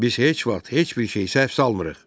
Biz heç vaxt heç bir şeyi səhv salmırıq.